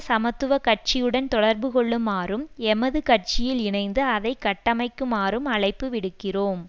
சமத்துவ கட்சியுடன் தொடர்பு கொள்ளுமாறும் எமது கட்சியில் இணைந்து அதை கட்டமைக்குமாறும் அழைப்பு விடுகிறோம்